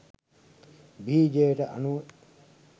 බීජයට අනුව